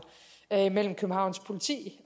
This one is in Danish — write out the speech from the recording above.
mellem københavns politi